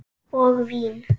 Og vín.